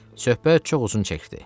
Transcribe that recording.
Söhbət çox uzun çəkdi.